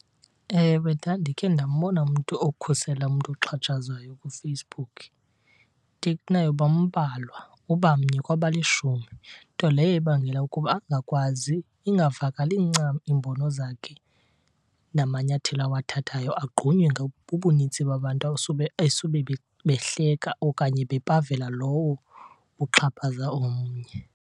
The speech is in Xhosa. Ewe, ndandikhe ndambona umntu okhusela umntu oxhatshazwayo kuFacebook, into kunayo bambalwa, uba mnye kwabalishumi. Nto leyo ibangela ukuba angakwazi, ingavakali ncam iimbono zakhe namanyathelo awathathayo, agqunywe bubunintsi babantu esube behleka okanye bepavela lowo uxhaphaza omnye.